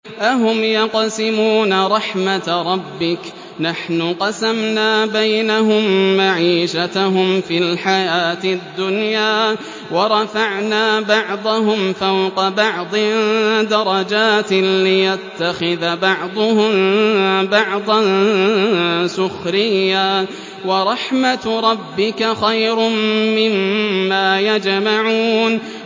أَهُمْ يَقْسِمُونَ رَحْمَتَ رَبِّكَ ۚ نَحْنُ قَسَمْنَا بَيْنَهُم مَّعِيشَتَهُمْ فِي الْحَيَاةِ الدُّنْيَا ۚ وَرَفَعْنَا بَعْضَهُمْ فَوْقَ بَعْضٍ دَرَجَاتٍ لِّيَتَّخِذَ بَعْضُهُم بَعْضًا سُخْرِيًّا ۗ وَرَحْمَتُ رَبِّكَ خَيْرٌ مِّمَّا يَجْمَعُونَ